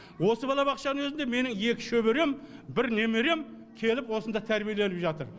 осы балабақшаның өзінде менің екі шөберем бір немерем келіп осында тәрбиеленіп жатыр